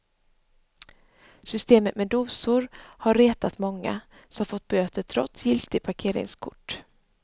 Systemet med dosor har retat många, som fått böter trots giltigt parkeringskort.